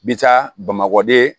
Bi taa bamakɔ de